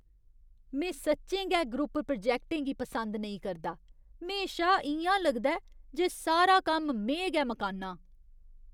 में सच्चें गै ग्रुप प्रोजैक्टें गी पसंद नेईं करदा, म्हेशा इ'यां लगदा ऐ जे सारा कम्म में गै मकान्नां।